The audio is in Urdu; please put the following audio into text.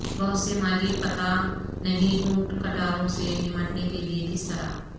بہت سے مالی پتہ نہیں اونٹ کٹاروں سے نمٹنے کے لئے کس طرح